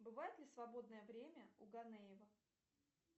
бывает ли свободное время у ганеева